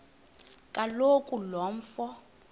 kaloku lo mfo